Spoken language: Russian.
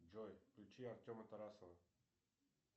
джой включи артема тарасова